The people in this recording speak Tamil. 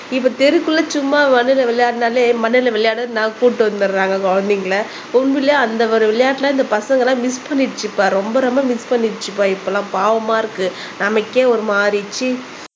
இப்ப தெருக்குள்ள சும்மா வந்து இந்த விளையாடுனாலே மண்ணுல விளையாடு நான் கூட்டிட்டு வந்துடுறாங்க குழந்தைங்களை உண்மையிலே அந்த ஒரு விளையாட்டுல இந்த பசங்க எல்லாம் மிஸ் பண்ணிடுச்சுப்பா ரொம்ப ரொம்ப மிஸ் பண்ணிடுச்சுப்பா இப்பல்லாம் பாவமா இருக்கு நமக்கே ஒரு மாறி சீ